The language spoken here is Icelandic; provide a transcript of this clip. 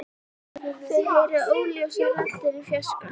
Þau heyra óljósar raddir í fjarska.